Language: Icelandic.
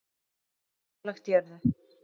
Nálægt jörðu